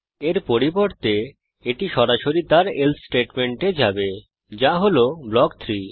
এর পরিবর্তে এটি সরাসরি তার এলসে স্টেটমেন্টে যাবে যা হল ব্লক 3